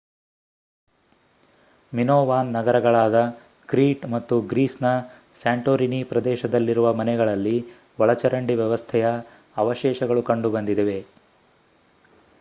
Minoan ನಗರಗಳಾದ Crete ಮತ್ತು ಗ್ರೀಸ್‌ನ ಸ್ಯಾಂಟೊರಿನಿ ಪ್ರದೇಶದಲ್ಲಿರುವ ಮನೆಗಳಲ್ಲಿ ಒಳಚರಂಡಿ ವ್ಯವಸ್ಥೆಯ ಅವಶೇಷಗಳು ಕಂಡುಬಂದಿವೆ